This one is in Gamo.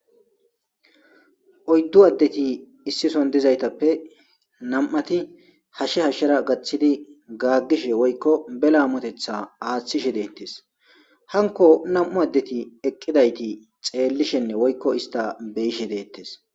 Oyddu addeti issison dizaytappe nam'ati hashshe hashshera gaththidi gaaggishe woykko bela amotetha aaththishe deettes hanko nam'u addeti eqqidayti xeellishenne woykko ista beyishe deettes.